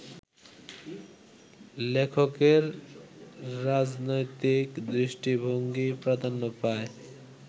লেখকের রাজনৈতিক দৃষ্টিভঙ্গিই প্রাধান্য পায়